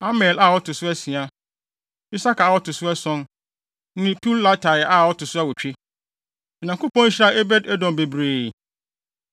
Amiel a ɔto so asia, Isakar a ɔto so ason, ne Peuletai a ɔto so awotwe. Onyankopɔn hyiraa Obed-Edom bebree.